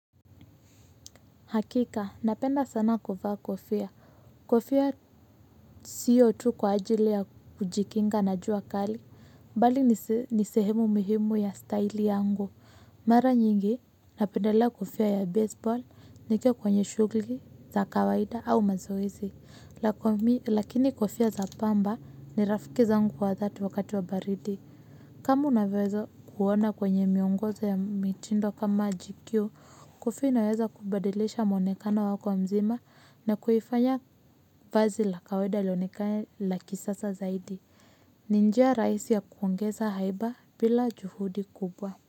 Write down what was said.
Hakika, napenda sana kuvaa kofia. Kofia sio tu kwa ajili ya kujikinga na juu kali, mbali ni sehemu muhimu ya style yangu. Mara nyingi, napendelea kofia ya baseball, nikiwa kwenye shughli, za kawaida au mazoezi. Lakini kofia za pamba ni rafiki zangu wa dhati wakati wa baridi. Kama unavyoweza kuona kwenye miongozo ya mitindo kama GQ kofia inaweza kubadilisha mwonekano wako wa mzima na kuifanya vazi la kawaida lionekane la kisasa zaidi. Ni njia raisi ya kuongeza haiba bila juhudi kubwa.